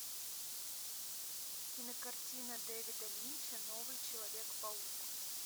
кинокартина дэвида линча новый человек паук